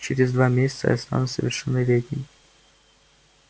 через два месяца я стану совершеннолетним